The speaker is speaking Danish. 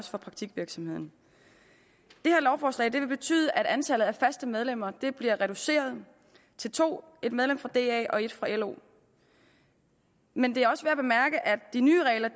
og praktikvirksomheden det her lovforslag vil betyde at antallet af faste medlemmer bliver reduceret til to en medlem fra da og en medlem fra lo men det er også værd at de nye regler